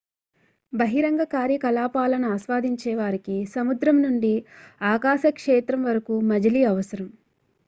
బహిరంగ కార్యకలాపాలను ఆస్వాదించేవారికి సముద్రం నుండి ఆకాశ క్షేత్రం వరకు మజిలీ అవసరం